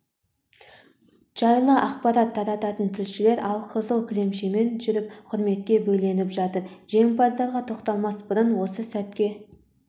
жайлы ақпарат тарататын тілшілер алқызыл кілемшемен жүріп құрметке бөленіп жатыр жеңімпаздарға тоқталмас бұрын осы сәтке